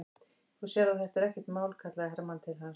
Þú sérð að þetta er ekkert mál, kallaði Hermann til hans.